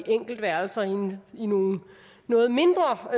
enkeltværelser i nogle noget mindre